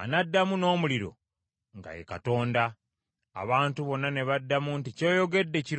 anaddamu n’omuliro nga ye Katonda.” Abantu bonna ne baddamu nti, “Ky’oyogedde kirungi.”